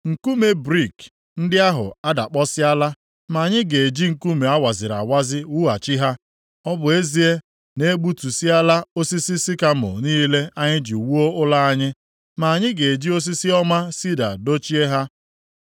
“Nkume brik ndị ahụ adakpọsịala ma anyị ga-eji nkume a waziri awazi wughachi ha; ọ bụ ezie na e gbutusịala osisi sikamọ niile anyị ji wuo ụlọ anyị, ma anyị ga-eji osisi ọma sida dochie ha.”